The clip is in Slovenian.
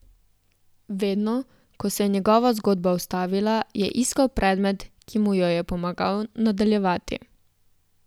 Vedno, ko se je njegova zgodba ustavila, je iskal predmet, ki mu jo je pomagal nadaljevati.